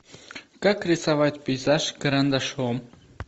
как рисовать пейзаж карандашом